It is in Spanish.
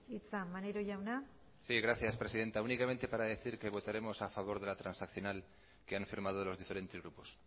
hitza maneiro jauna sí gracias presidenta únicamente para decir que votaremos a favor de la transaccional que han firmado los diferentes grupos